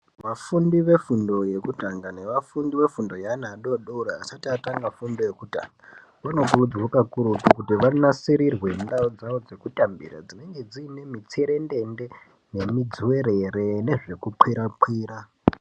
Vafundi vefundo yekutanga nevafundi vefundo yeana adodori asati atanga fundo yekutanga vanokurudzirwa kakurutu kuti vanasirirwe ngendaa yekuti ndaraunda dzavo dzekutambira dzinenge dziine mitserendende nemidziwerere nezvekukwira kwira .